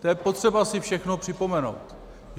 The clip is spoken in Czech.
To je potřeba si všechno připomenout.